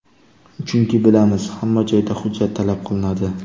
Chunki, bilamiz, hamma joyda hujjat talab qilinadi.